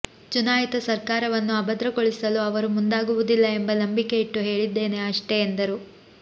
ಚುನಾಯಿತ ಸರ್ಕಾರವನ್ನು ಅಭದ್ರಗೊಳಿಸಲು ಅವರು ಮುಂದಾಗುವುದಿಲ್ಲ ಎಂಬ ನಂಬಿಕೆ ಇಟ್ಟು ಹೇಳಿದ್ದೇನೆ ಅಷ್ಟೇ ಎಂದರು